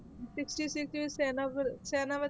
Sixty six 'ਚ ਸੈਨਾ ਵ~ ਸੈਨਾ ਵ~